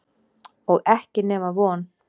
Og ekki nema von.